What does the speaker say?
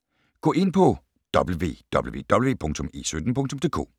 Gå ind på www.e17.dk